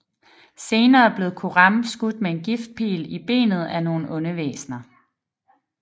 Senere blev Coram skudt med en giftpil i benet af nogle onde væsner